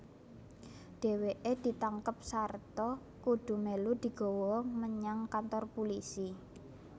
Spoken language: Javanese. Dheweke ditangkep sarta kudu melu digawa menyang kantor pulisi